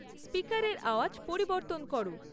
স্পিকারের আওয়াজ পরিবর্তন করো